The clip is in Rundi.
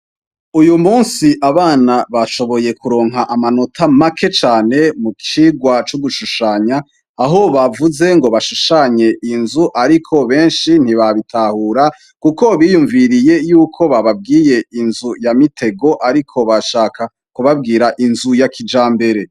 Uyu munsi abana bashoboye kuronka amanota make cane mu cigwa c'ugushushanya, aho bavuze ngo bashushanye inzu ariko benshi ntibabitahura kuko biyumviriye yuko bababwiye inzu ya mitego ariko bashaka kubabwira inzu ya kijambere.